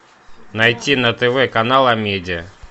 найти на тв канал амедиа